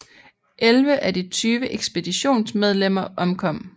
Elleve af de tyve ekspeditionsmedlemmer omkom